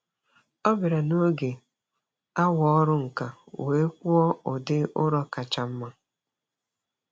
Ọ bịara n'oge awa ọrụ nka wee kpụọ ụdị ụrọ kacha mma.